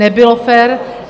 Nebylo fér.